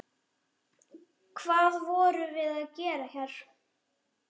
Hvað voruð þið að gera hér?